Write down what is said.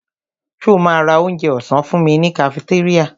Ṣo ma ra onjẹ ọ̀sán fúnmi ní kafitéríà?